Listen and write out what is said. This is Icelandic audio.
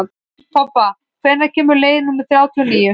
Tobba, hvenær kemur leið númer þrjátíu og níu?